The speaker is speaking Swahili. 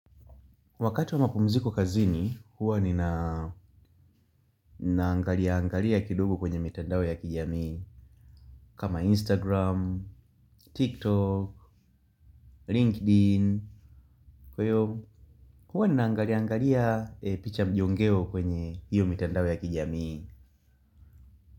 Wakati wa mapumziko kazini, huwa ninaangalia-angalia kidogo kwenye mitandao ya kijamii Kama Instagram, TikTok, LinkedIn, kwa hiyo huwa ninaangalia-angalia picha mjongeo kwenye hiyo mitandao ya kijamii.